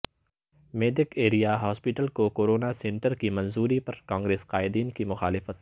Medak area hospital کو corona centre کی منظوری پر کانگریس قائدین کی مخالفت